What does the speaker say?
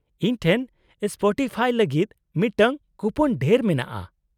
-ᱤᱧ ᱴᱷᱮᱱ ᱥᱯᱚᱴᱤᱯᱷᱟᱭ ᱞᱟᱹᱜᱤᱫ ᱢᱤᱫᱴᱟᱝ ᱠᱩᱯᱳᱱ ᱰᱷᱮᱨ ᱢᱮᱱᱟᱜᱼᱟ ᱾